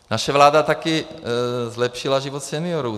Naše vláda taky zlepšila život seniorů.